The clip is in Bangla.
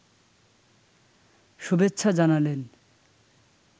শুভেচ্ছা জানালেন